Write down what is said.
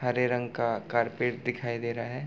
हरे रंग का कारपेट दिखाई दे रहा है।